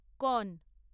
কন